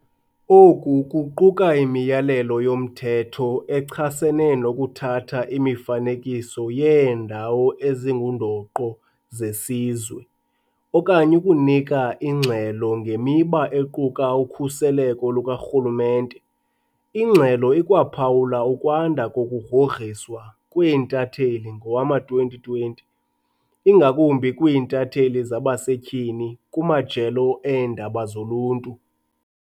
Oku kuquka imiyalelo yomthetho echasene nokuthatha imifanekiso yeeNdawo ezinguNdoqo zeSizwe okanye ukunika ingxelo ngemiba equka ukhuseleko lukarhulumente. Ingxelo ikwaphawula ukwanda kokugrogriswa kweentatheli ngowama-2020, ingakumbi kwiintatheli zabasetyhini kumajelo eendaba zoluntu.